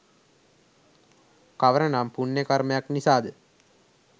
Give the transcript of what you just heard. කවර නම් පුණ්‍යකර්මයක් නිසාද?